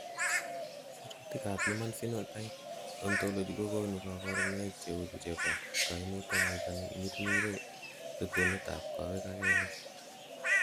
Sirutikab Human Phenotype Ontology kokonu koborunoik cheuchu chebo koimutioniton imirmire rutunetab kowek ak kelek .